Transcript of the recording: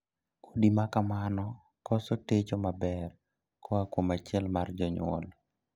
Udi ma kamano koso techo maber koa kuom achiel mar jonyuol.